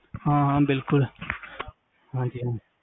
ਹਾਂ ਬਿਲਕੁਲ ਹਾਂਜੀ ਹਾਂਜੀ